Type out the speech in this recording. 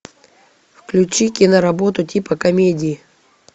включи киноработу типа комедии